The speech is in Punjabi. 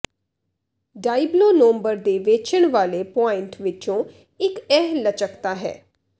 ਡਾਇਬਲੋ ਨੌਂਬਰ ਦੇ ਵੇਚਣ ਵਾਲੇ ਪੁਆਇੰਟ ਵਿਚੋਂ ਇਕ ਇਹ ਲਚਕਤਾ ਹੈ